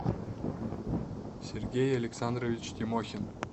сергей александрович тимохин